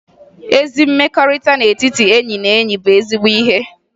Ezi mmekọrịta n'etiti enyi na enyi bụ ezigbo ihe